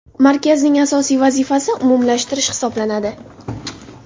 Markazning asosiy vazifasi umumlashtirish hisoblanadi.